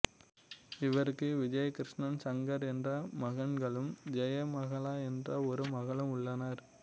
இவருக்கு விஜயகிருஷ்ணன் சங்கர் என்ற மகன்களும் ஜெயகமலா என்ற ஒரு மகளும் உள்ளனர்